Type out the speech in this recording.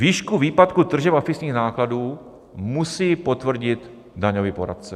Výšku výpadku tržeb a fixních nákladů musí potvrdit daňový poradce.